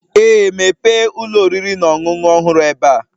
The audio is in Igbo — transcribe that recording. Ee, mepee ụlọ oriri na ọṅụṅụ ọhụrụ ebe a.